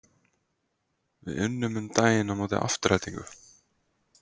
Við unnum um daginn á móti Aftureldingu.